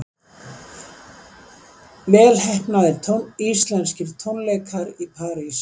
Vel heppnaðir íslenskir tónleikar í París